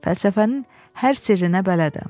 Fəlsəfənin hər sirrinə bələdəm.